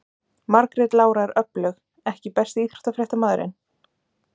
Margrét Lára er öflug EKKI besti íþróttafréttamaðurinn?